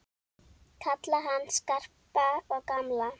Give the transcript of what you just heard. Kalla hann Skarpa og gamla!